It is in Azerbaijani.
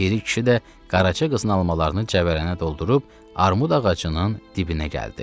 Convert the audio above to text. Piri kişi də qaraca qızın almalarını cəvələnə doldurub armud ağacının dibinə gəldi.